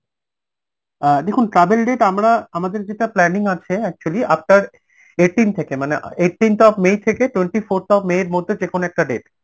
অ্যাঁ দেখুন travel date আমরা আমাদের যেটা planning আছে actually after eighteenth থেকে মানে eighteenth of may থেকে twenty fourth of may এর মধ্যে যেকোনো একটা date